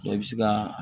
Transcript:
i bɛ se ka